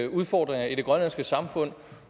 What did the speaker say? udfordringer i det grønlandske samfund